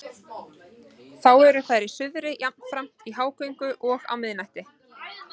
Þá eru þær í suðri og jafnframt í hágöngu á miðnætti.